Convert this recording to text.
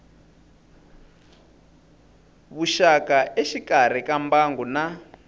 vuxaka exikarhi ka mbangu na